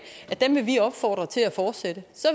til at fortsætte så